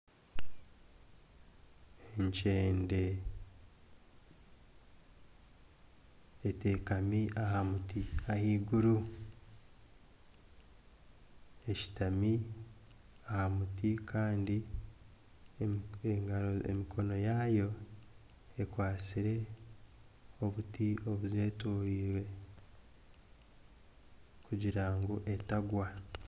Ekyende etekami aha muti ahaiguru, eshutami aha muti kandi emikono yaayo ekwatsire obuti obuzeetoreire kugira ngu etagwa